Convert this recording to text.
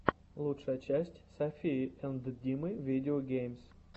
лучшая часть софии энд димы видео геймс